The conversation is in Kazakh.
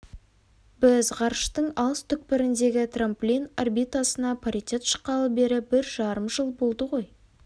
біз ғарыштың алыс түкпіріндегі трамплин орбитасына паритет шыққалы бері бір жарым жыл болды ғой